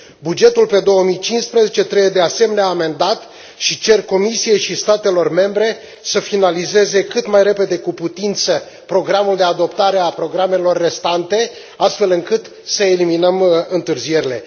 Bugetul pe 2015 trebuie, de asemenea, amendat și cer Comisiei și statelor membre să finalizeze cât mai repede cu putință programul de adoptare a programelor restante, astfel încât să eliminăm întârzierile.